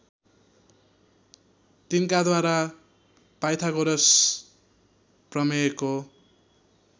तिनकाद्वारा Pythagoras प्रमेयको